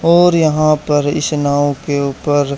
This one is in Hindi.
और यहां पर इस नाव के ऊपर--